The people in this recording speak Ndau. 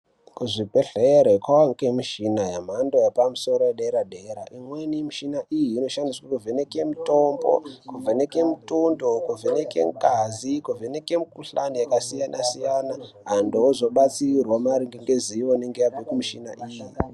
Kuzvibhedhlere kovanikwa mishina yemhando yepamusoro yedera-dera. Imweni yemishina iyi inoshandiswe kuvheneka mutombo. Kuvheneke mutundo, kuvheneke ngazi, kuvheneke mikuhlani yakasiyana-siyana. Antu ozobatsirwa maringe ngezivo inonga yabve kumushina iyi.